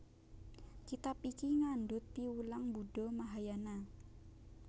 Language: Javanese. Kitab iki ngandhut piwulang Buddha Mahayana